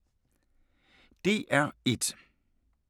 DR1